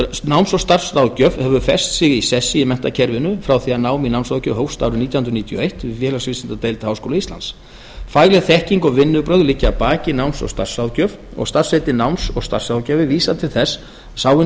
náms og starfsráðgjöf hefur fest sig í sessi í menntakerfinu frá því að nám í námsráðgjöf hófst árið nítján hundruð níutíu og eitt við félagsvísindadeild háskóla íslands fagleg þekking og vinnubrögð liggja að baki náms og starfsráðgjöf og starfsheitið náms og starfsráðgjafi vísar til þess að sá hinn